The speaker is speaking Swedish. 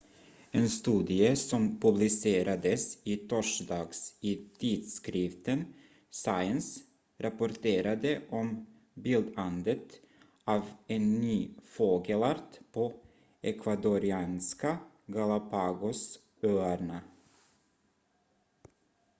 en studie som publicerades i torsdags i tidskriften science rapporterade om bildandet av en ny fågelart på ecuadorianska galápagosöarna